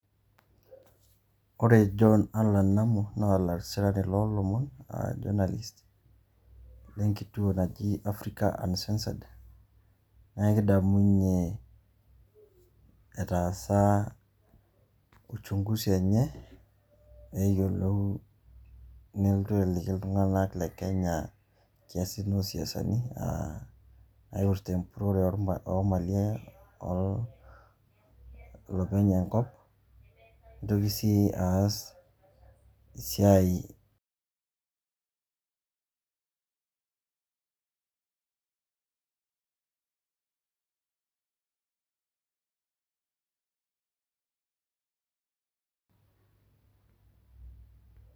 Ore Joe Allan Namu, naa olasirani loolomon a journalist le nkituo naji Africa Uncensored, naa kidamunye etaasa uchunguzi enye neyoluo neeltu aliki iltunga'anak le Kenya irkesin o siasani naipirta empurore o malin enye o lopeny enkop, nitoki sii aas e siai.